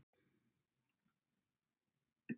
Umsögnin í heild